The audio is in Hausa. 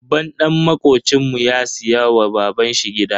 Babban dan makocinmu ya siya wa baban shi gida.